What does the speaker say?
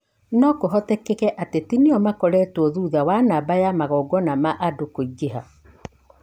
no kũhoteke ateti nĩo makoretwo thutha wa namba ya magongona ma andũ kũingĩha